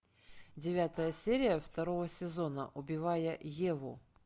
девятая серия второго сезона убивая еву